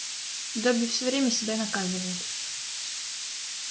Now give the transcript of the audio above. добби все время себя наказывает